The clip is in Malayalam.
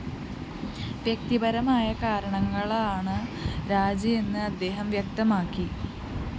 വ്യക്തിപരമായ കാരണങ്ങളാലാണ് രാജിയെന്ന് അദ്ദേഹം വ്യക്തമാക്കി